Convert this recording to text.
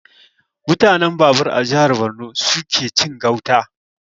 Mutanen Babur a jihar Borno suke cin gauta